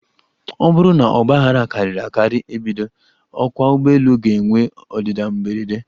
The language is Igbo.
Ọ bụrụ na ogbaghara karịrị akari ebido, ọkwa ụgbọelu ga -enwe ọdịda mberede.